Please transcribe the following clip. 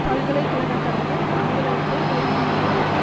பல்கலை கழக தலைவர் அலுவலகத்தை ஒரு மணி நேரத்திற்கு